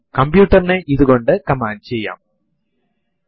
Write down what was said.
ഈ കമ്പ്യൂട്ടറിൽ പ്രത്യേക അധികാരങ്ങൾ ഉള്ള ഒരു ആൾ ആണ് ഇത്